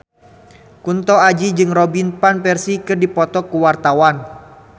Kunto Aji jeung Robin Van Persie keur dipoto ku wartawan